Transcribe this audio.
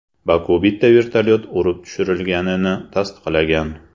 Baku bitta vertolyot urib tushirilganini tasdiqlagan.